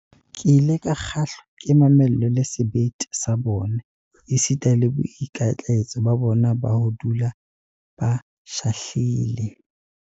Ke ile ka kgahlwa ke mamello le sebete sa bona, esita le boikitlaetso ba bona ba ho dula ba shahlile.